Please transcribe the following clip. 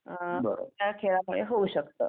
अ त्या खेळामुळे होऊ शकतं.